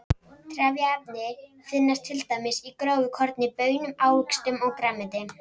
Trefjaefni finnast til dæmis í grófu korni, baunum, ávöxtum og grænmeti.